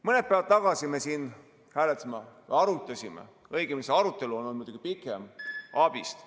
Mõned päevad tagasi me siin hääletasime ja arutasime, õigemini see arutelu on olnud muidugi pikem, ABIS‑t ...